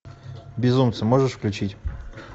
безумцы можешь включить